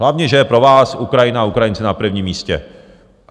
Hlavně že je pro vás Ukrajina a Ukrajinci na prvním místě.